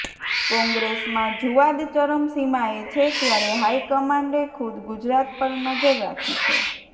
કોંગ્રેસમાં જૂવાદ ચરમસિમાએ છે ત્યારે હાઇકમાન્ડે ખુદ ગુજરાત પર નજર રાખી છે